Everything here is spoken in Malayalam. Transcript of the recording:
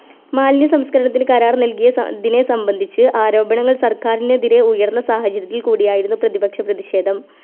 മാലിന്യ സംസ്‌കരണത്തിന് കരാറ് നൽകിയ സ ദിനേ സംബന്ധിച്ച് ആരോപണങ്ങൾ സർക്കാരിനെതിരെ ഉയർന്ന സാഹചര്യത്തിൽ കൂടിയായിരുന്നു പ്രതിപക്ഷ പ്രതിഷേധം